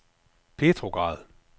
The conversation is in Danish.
Petrograd